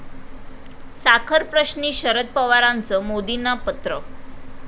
साखरप्रश्नी शरद पवारांचं मोदींना पत्र